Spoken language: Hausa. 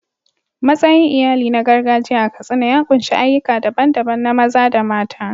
Matsayin iyali na gargajiya a Katsina ya ƙunshi ayyuka daban-daban na maza da mata.